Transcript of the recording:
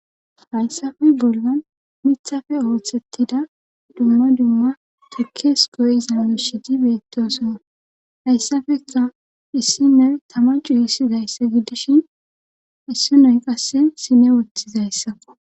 Hayssappe bollan miiththappe ooththettida dumma dumma tukkees goyiza miishshati beettosona hayssafekka issine tama cuyisizayssa giddishin issinoy qasse sine woththizayssakko